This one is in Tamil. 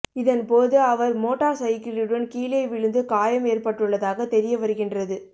இதன்போது அவர் மோட்டார் சைக்கிளுடன் கீழே விழுந்து காயம் ஏற்பட்டுள்ளதாக தெரிய வருகின்றது